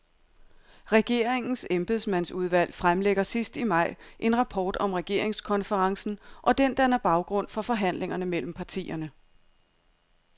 Regeringens embedsmandsudvalg fremlægger sidst i maj en rapport om regeringskonferencen, og den danner baggrund for forhandlingerne mellem partierne.